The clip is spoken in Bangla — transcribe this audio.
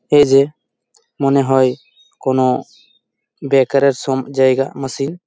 এই যে মনে হয় কোনো বেকার -এর সম জায়গা মেশিন ।